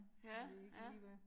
Ja, ja